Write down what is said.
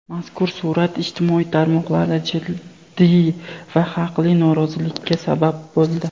Mazkur surat ijtimoiy tarmoqlarda jiddiy va haqli norozilikka sabab bo‘ldi.